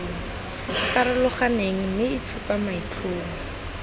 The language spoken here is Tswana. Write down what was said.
farologaneng mme e supa maitlhomo